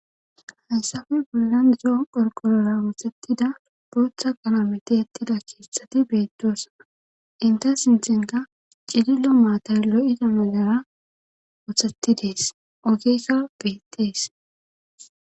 hayssafe pilland zo qorqolora woothettida booththa qalometi ettida keeththati beettoosaa inta sinthenka cilillo maatay lo7ida melara othetidees ogeesa beettees